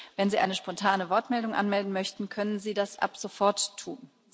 Wenn Sie eine spontane Wortmeldung anmelden möchten, können Sie das ab sofort tun.